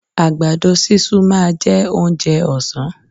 Àgbàdo sísun máa jẹ́ oúnjẹ òsán.